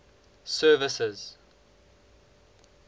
services